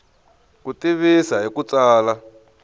ku tivisa hi ku tsala